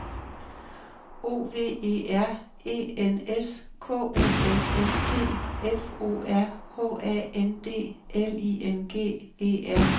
O V E R E N S K O M S T F O R H A N D L I N G E R N E S